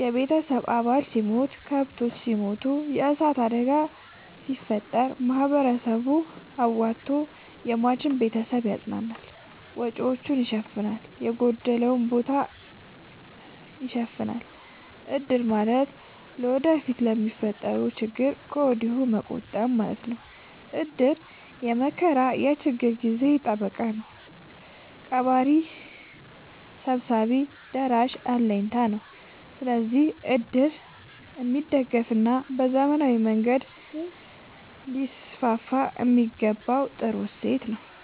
የቤተሰብ አባል ሲሞት፤ ከብቶች ሲሞቱ፤ የዕሳት አደጋ ሲፈጠር፤ ማህበረሰቡ አዋቶ የሟችን ቤተሰብ ያፅናናል፤ ወጪወቹን ይሸፋናል፤ የጎደለውን ቦታ ይሸፋናል። እድር ማለት ወደፊት ለሚፈጠረው ችግር ከወዲሁ መቆጠብ ማለት ነው። እድር የመከራ የችግር ጊዜ ጠበቃ ነው። ቀባሪ ሰብሳቢ ደራሽ አለኝታ ነው። ስለዚህ እድር የሚደገፋና በዘመናዊ መንገድ ሊስስፋየሚገባው ጥሩ እሴት ነው።